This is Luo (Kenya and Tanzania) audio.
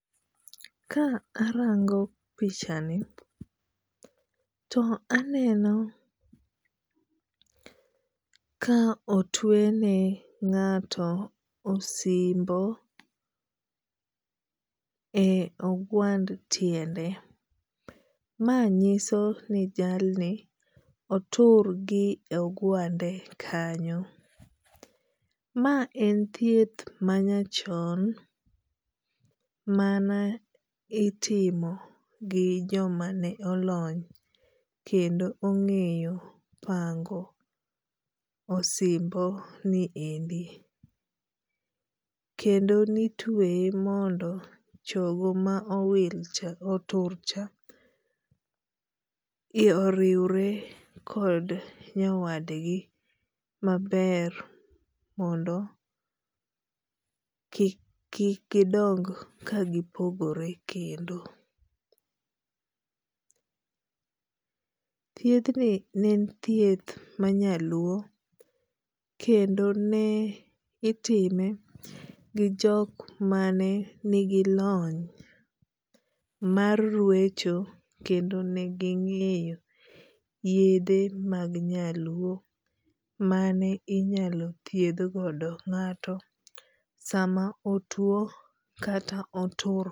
Ka arango pichani to aneno ka otuene ng'ato osimbo e ogwand tiende. Ma nyiso ni jalni otur gi ogwande kanyo. Ma en thieth ma nyachon mane itimo gi jomane olony kendo ong'eyo pango osimbonieri kendo ne itueye mondo chogo ma owilcha oturcha oriwre kod nyawadgi maber mondo kik gidong ka gipogore kendo. Thiedhni ne en thieth ma nyaluo kendo ne itime gi jok mane ni gi lony mar rwecho kendo ne ging'eyo yedhe mag nyaluo minyalo thiedh godo ng'ato sama otuo kata otur